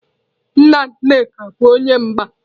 Nna Nneka bu onye mgba.